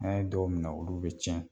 N'a ye dɔw minɛ olu bɛ tiɲɛ.